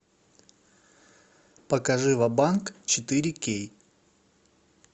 покажи ва банк четыре кей